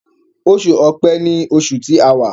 Oṣù Ọ̀pẹ́ní oṣù tí àwa.